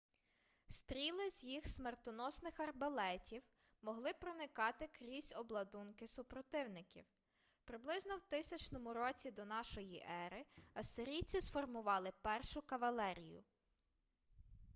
стріли з їх смертоносних арбалетів могли проникати крізь обладунки супротивників приблизно в 1000 році до нашої ери ассирійці сформували першу кавалерію